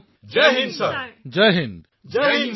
সকলো NCC cadet জয় হিন্দ মহাশয়